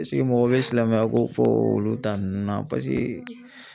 Ɛseke mɔgɔw bɛ silamɛya ko fɔ olu ta ninnu na paseke